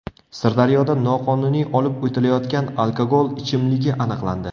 Sirdaryoda noqonuniy olib o‘tilayotgan alkogol ichimligi aniqlandi.